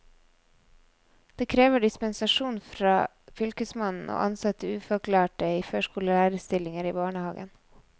Det krever dispensasjon fra fylkesmannen å ansette ufaglærte i førskolelærerstillinger i barnehaven.